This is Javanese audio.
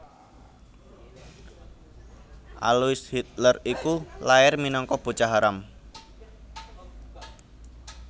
Alois Hitler iku lair minangka bocah haram